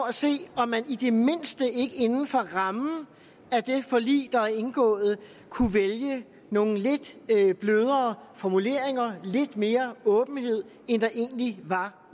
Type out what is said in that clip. at se om man i det mindste ikke inden for rammen af det forlig der er indgået kunne vælge nogle lidt blødere formuleringer lidt mere åbenhed end der egentlig var